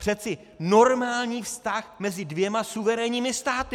Přece normální vztah mezi dvěma suverénními státy.